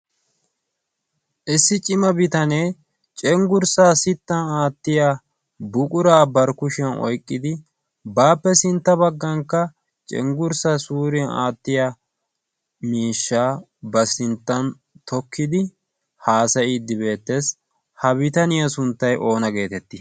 Issi cima bitanee cenggursa sitan aatiya buqura bari kushiyaan oyqqidi baappe sintta baggankka cenggurssa suuriyaan aatttiya miishsha ba sinttan tokkidi haassaydde beettees. ha bitaniyaa sunttay oonna getetti?